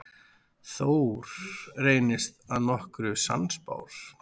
Thor reyndist að nokkru sannspár.